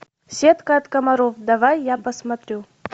сетка от комаров давай я посмотрю